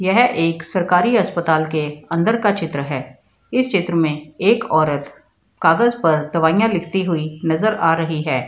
यह एक सरकारी अस्पताल के अंदर का चित्र है इस चित्र में एक औरत कागज़ पर दवाइयाँ लिखती हुई नजर आ रही है।